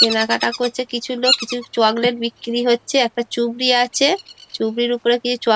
কেনা কাটা করছে কিছু লোক লিচু চকলেট বিক্রি হচ্ছে একটা চুবড়ি আছে চুবড়ির ওপরে কিছু চক --